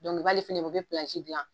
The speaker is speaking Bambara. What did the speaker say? nin o be gilan